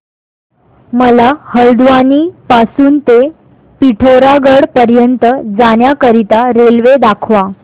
मला हलद्वानी पासून ते पिठोरागढ पर्यंत जाण्या करीता रेल्वे दाखवा